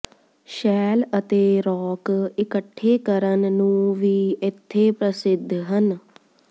shell ਅਤੇ rock ਇਕੱਠੇ ਕਰਨ ਨੂੰ ਵੀ ਇੱਥੇ ਪ੍ਰਸਿੱਧ ਹਨ